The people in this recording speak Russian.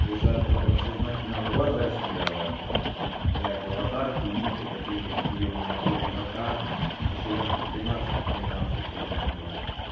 уже в таком сознательном возрасте блядь аватарки и ники такие какие у меня были в вк ещё лет в двенадцать тринадцать ёбанный в рот